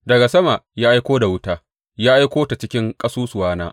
Daga sama ya aiko da wuta, ya aiko ta cikin ƙasusuwana.